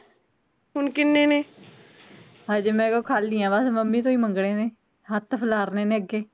ਹਜੇ ਮੇਰੇ ਕੋਲ ਖਾਲੀ ਆ ਬਸ ਹੁਣ ਮਮੀ ਤੋਂ ਮੰਗਣੇ ਨੇ, ਹੱਥ ਫਲਾਰਨੇ ਅਗੇ